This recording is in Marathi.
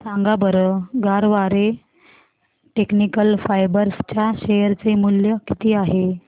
सांगा बरं गरवारे टेक्निकल फायबर्स च्या शेअर चे मूल्य किती आहे